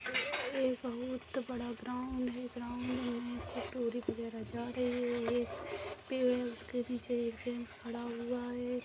एक बहुत बड़ा ग्राउंड है ग्राउंड मे कटोरी वगैरह जा रही है एक पेड़ है उसके नीचे एक जेंट्स खड़ा हुआ है।